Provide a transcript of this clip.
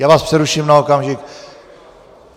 Já vás přeruším na okamžik.